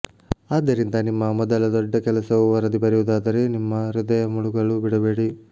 ಆದ್ದರಿಂದ ನಿಮ್ಮ ಮೊದಲ ದೊಡ್ಡ ಕೆಲಸವು ವರದಿ ಬರೆಯುವುದಾದರೆ ನಿಮ್ಮ ಹೃದಯ ಮುಳುಗಲು ಬಿಡಬೇಡಿ